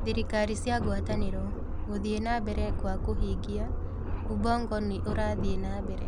Thirikari cia ngwatanĩro: Gũthiĩ na mbere kwa kũhingia: Ubongo nĩ ũrathiĩ na mbere